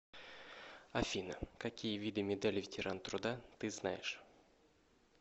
афина какие виды медаль ветеран труда ты знаешь